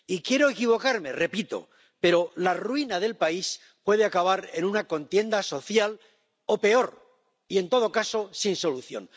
Y quiero equivocarme —repito—, pero la ruina del país puede acabar en una contienda social o peor y, en todo caso, sin solución.